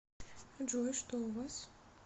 джой что у вас